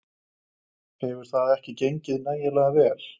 Hefur það ekki gengið nægilega vel?